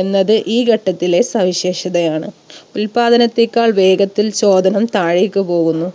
എന്നത് ഈ ഘട്ടത്തിലെ സവിശേഷതയാണ് ഉത്പാദനത്തേക്കാൾ വേഗത്തിൽ ചോദനം താഴേക്ക് പോവുന്നു.